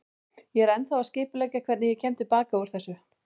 Ég er ennþá að skipuleggja hvernig ég kem til baka út úr þessu.